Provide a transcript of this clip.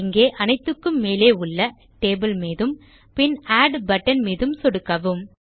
இங்கே அனைத்துக்கும் மேலே உள்ள டேபிள் மீதும் பின் ஆட் பட்டன் மீதும் சொடுக்கவும்